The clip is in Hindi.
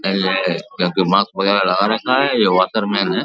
पहले जबकि मास्क पहले से लगा रखा है ये वाटर मैन है।